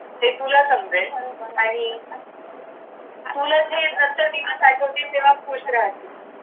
हे तुला समजेल आणि तुला ते दिवस आठवतात तेव्हा खूष राहशील